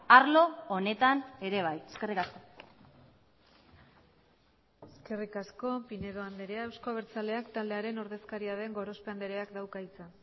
arlo honetan ere bai eskerrik asko eskerrik asko pinedo andrea euzko abertzaleak taldearen ordezkaria den gorospe andreak dauka hitza